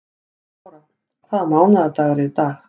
Barbára, hvaða mánaðardagur er í dag?